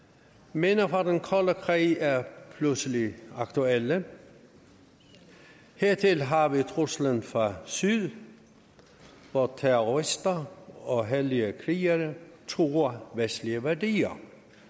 minder fra den kolde krig er pludselig aktuelle hertil har vi truslen fra syd hvor terrorister og hellige krigere truer vestlige værdier